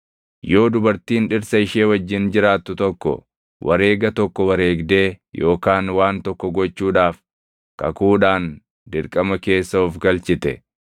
“Yoo dubartiin dhirsa ishee wajjin jiraattu tokko wareega tokko wareegdee yookaan waan tokko gochuudhaaf kakuudhaan dirqama keessa of galchite,